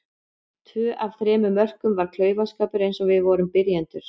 Tvö af þremur mörkum var klaufaskapur eins og við vorum byrjendur.